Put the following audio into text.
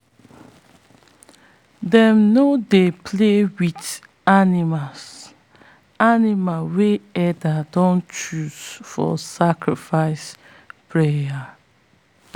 them no dey play with animal animal wey elders don choose for sacrifice prayer.